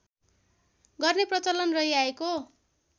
गर्ने प्रचलन रहिआएको छ